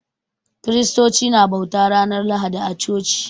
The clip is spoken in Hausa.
Kiristoci na bauta ranar Lahadi a coci